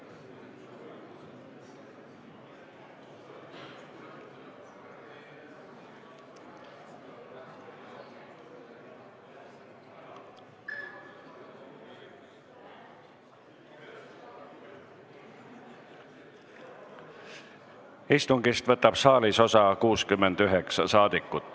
Kohaloleku kontroll Istungist võtab saalis osa 69 rahvasaadikut.